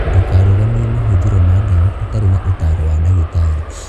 Ndũkarũgamie mahũthĩro ma ndawa ũtarĩ na ũtaaro wa ndagĩtarĩ.